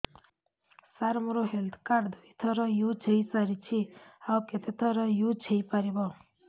ସାର ମୋ health card ଦୁଇ ଥର ୟୁଜ଼ ହୈ ସାରିଛି ଆଉ କେତେ ଥର ୟୁଜ଼ ହୈ ପାରିବ